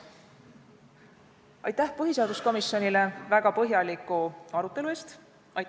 Aitäh põhiseaduskomisjonile väga põhjaliku arutelu eest!